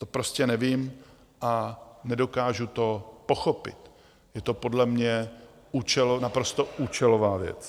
To prostě nevím a nedokážu to pochopit, je to podle mě naprosto účelová věc.